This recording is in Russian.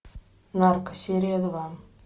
нарко серия два